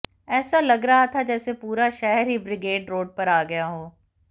ऐसा लग रहा था जैसे पूरा शहर ही ब्रिगेड रोड पर आ गया हो